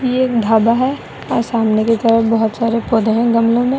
यह एक ढाबा है और सामने की तरफ बहुत सारे पौधे हैं गमलों में।